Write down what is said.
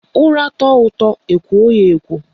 Ura tọọ ụtọ ekwo ya ekwo